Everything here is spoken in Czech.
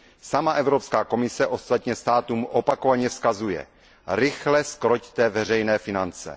Sama Evropská komise ostatně státům opakovaně vzkazuje Rychle zkroťte veřejné finance!